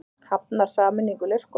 Hafnar sameiningu leikskóla